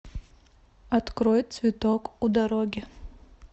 открой цветок у дороги